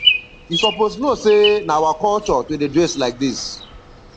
you suppose know sey na our culture to dey dress like dis